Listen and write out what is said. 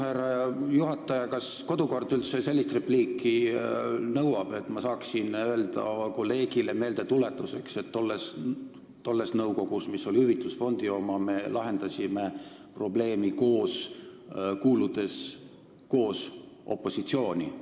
Härra juhataja, kas kodukord üldse lubab sellist repliiki, et ma saaksin öelda kolleegile meeldetuletuseks, et tolles nõukogus, mis oli hüvitusfondi oma, me lahendasime probleemi koos, kuuludes koos opositsiooni?